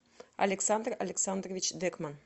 александр александрович декман